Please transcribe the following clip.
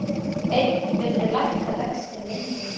Einn vildi lækka vexti minna